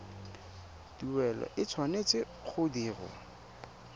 tuelo e tshwanetse go dirwa